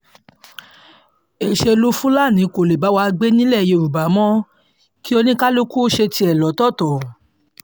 èṣèlú fúlàní kò lè bá wa gbé nílẹ̀ yorùbá mọ́ kí kálukú ṣe tiẹ̀ lọ́tọ̀ọ̀tọ̀